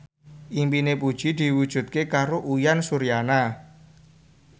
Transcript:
impine Puji diwujudke karo Uyan Suryana